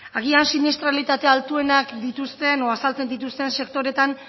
agian siniestralitate altuenak dituzten edo azaltzen dituzten sektoreetan